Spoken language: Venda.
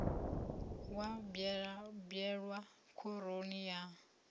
makwati wa bwelwa khoroni ya